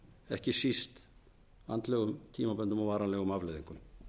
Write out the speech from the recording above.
ekki síst andlegum tíambundum og varanlegum afleiðingum